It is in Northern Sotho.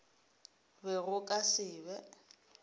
be go ka se be